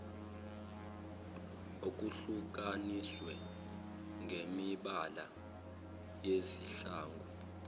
okuhlukaniswe ngemibala yezihlangu